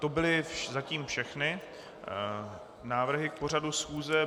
To byly zatím všechny návrhy k pořadu schůze.